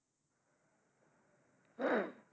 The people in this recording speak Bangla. অ